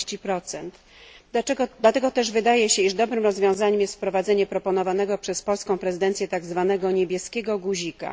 40. Dlatego też wydaje się, iż dobrym rozwiązaniem jest wprowadzenie proponowanego przez polską prezydencję tak zwanego niebieskiego guzika.